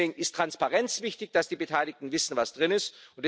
Deswegen ist Transparenz wichtig, dass die Beteiligten wissen, was darin ist.